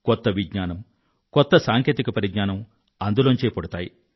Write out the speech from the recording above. కొత్త విజ్ఞానం కొత్త సాంకేతిక పరిజ్ఞానం అందులోనుండే పుడతాయి